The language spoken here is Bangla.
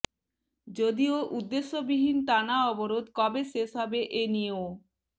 যদিও উদ্দেশ্যবিহীন টানা অবরোধ কবে শেষ হবে এ নিয়েও